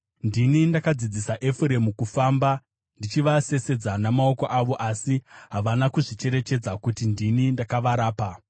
Ndini ndakadzidzisa Efuremu kufamba, ndichivasesedza namaoko avo; asi havana kuzvicherechedza kuti ndini ndakavarapa.